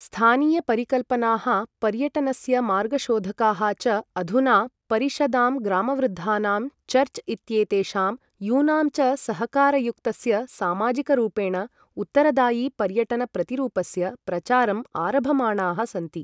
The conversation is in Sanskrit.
स्थानीय परिकल्पनाः पर्यटनस्य मार्गशोधकाः च अधुना परिषदां, ग्रामवृद्धानां, चर्च् इत्येतेषां, यूनां च सहकारयुक्तस्य सामाजिकरूपेण उत्तरदायि पर्यटन प्रतिरूपस्य प्रचारम् आरभमाणाः सन्ति।